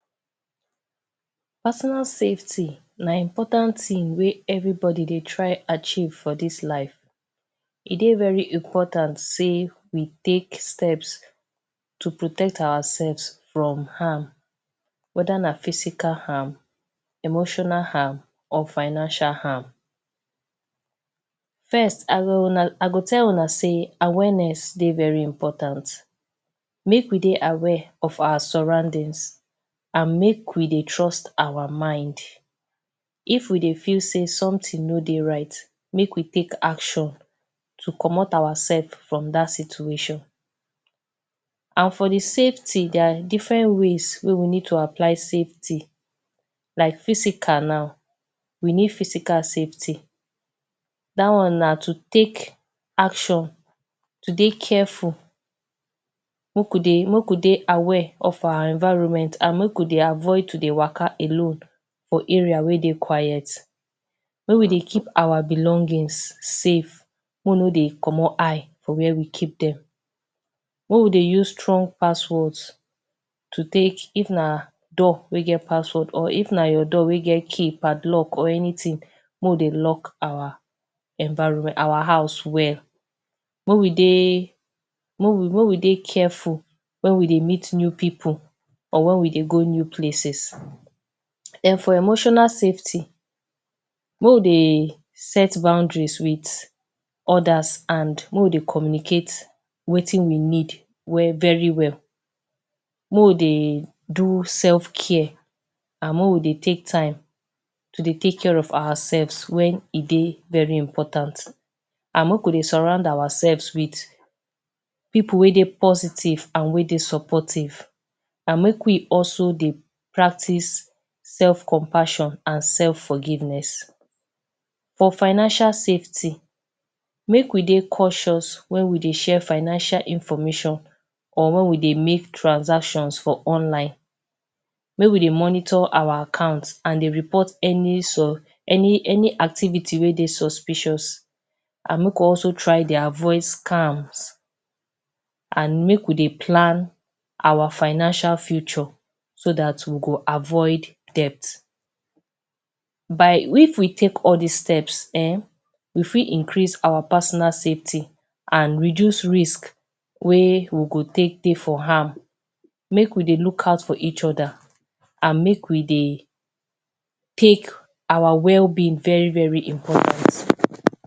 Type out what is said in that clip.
Personal safety na important thing wey everybody dey try achieve for this life e dey very important say we take steps to protect ourselves from harm weda na physical harm emotional harm or financial harm. first I go tell Una say awareness dey very important make we dey aware of our surroundings and make we dey trust our mind if we dey feel say something no dey right make we quick take action to comot our sef from that situation and for de safety. there are different ways wey we need to apply safety like physical now we need physical safety that one na to take action to dey careful make we dey make we dey aware of our environment and make we dey avoid to dey waka alone for area wey dey quiet. make we dey keep our belongings safe make we no dey comot eye for wey we keep dem make we dey use strong passwords to take if na door wey get password or if na your door wey get key padlock or anything make we dey lock our environment our house well make we dey make we dey careful when we dey meet new pipu for when we dey go new places. den for emotional safety, make we dey set boundaries with others and make we dey communicate wetin we need very well. make we dey do self care and make we dey take time to dey take care of ourselves when e dey very important make we dey surround ourselves with pipu wey dey positive and supportive and make we also dey practice self compassion and self forgiveness. for financial safety make we dey cautious when we dey share financial information or When we dey make transactions for online make we dey monitor our account and dey report any so any any activity wey dey suspicious an make we also try dey avoid scams and make we dey plan our financial future so that we go avoid debt. but if we take all this steps um we fit increase our personal safety and reduce risk wey we go take dey for am. make we dey look out of reach others and make we dey take our wellbeing very important.